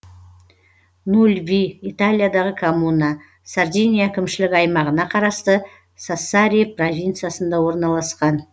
нульви италиядағы коммуна сардиния әкімшілік аймағына қарасты сассари провинциясында орналасқан